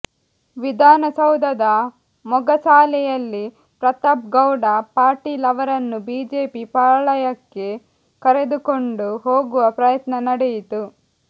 ವಿಧಾನಸೌಧದ ಮೊಗಸಾಲೆಯಲ್ಲಿ ಪ್ರತಾಪ್ ಗೌಡ ಪಾಟೀಲ್ ಅವರನ್ನು ಬಿಜೆಪಿ ಪಾಳಯಕ್ಕೆ ಕರೆದುಕೊಂಡು ಹೋಗುವ ಪ್ರಯತ್ನ ನಡೆಯಿತು